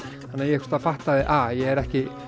þannig að ég fattaði að ég er ekki